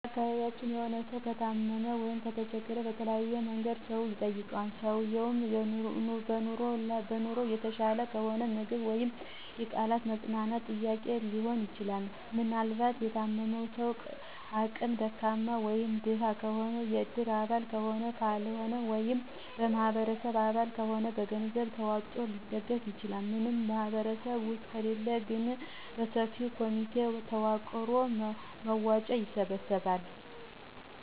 በአካቢያችን የሆነ ስው ከታመመ/ከተቸገረ በተለያየ መንገድ ሰው ይጠይቀዋል። ሰውየው በኑሮ የተሻለ ከሆነ ምግብ ወይም የቃላት የማፅነናናት ጥያቄ ሊሆን ይችላል። ምናልባት የታመመው ሰው አቅመ ደካማ (ደሀ) ከሆነ የእድር አባል ከሆነ ካለው ወይም የበማህበር አባል ከሆነ ገንዘብ ተዋጥቶ ሊደገፍ ይችላል። ምንም ማህበር ውስጥ ከሌለ ግን በሰፈር ኮሚቴ ተዋቅሮ መዋጮ ይሰበሰባል።